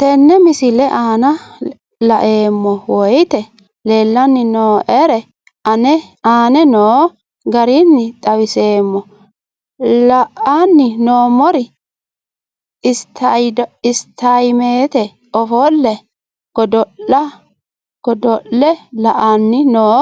Tenne misile aana laeemmo woyte leelanni noo'ere aane noo garinni xawiseemmo. La'anni noomorri isitaayimette ofoole goddolle la'anni noo